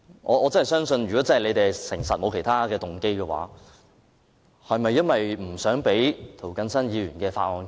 我相信如果政府是誠實的，沒有其他動機，是否只是不想讓涂謹申議員的修正案通過？